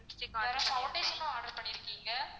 இப்போ foundation ம் order பண்ணிருக்கீங்க.